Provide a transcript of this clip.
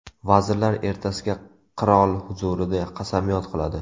Vazirlar ertasiga qirol huzurida qasamyod qiladi.